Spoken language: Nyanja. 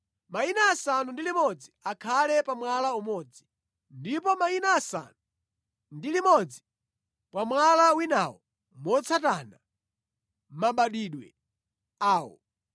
Mayina asanu ndi limodzi akhale pa mwala umodzi, ndipo mayina asanu ndi limodzi pa mwala winawo motsata mabadwidwe awo.